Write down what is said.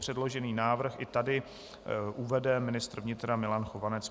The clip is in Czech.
Předložený návrh i tady uvede ministr vnitra Milan Chovanec.